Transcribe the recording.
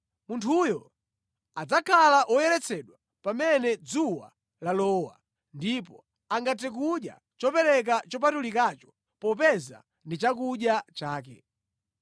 Munthuyo adzakhala woyeretsedwa pamene dzuwa lalowa, ndipo angathe kudya chopereka chopatulikacho popeza ndi chakudya chake.